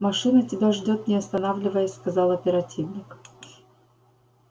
машина тебя ждёт не останавливаясь сказал оперативник